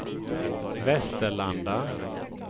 Västerlanda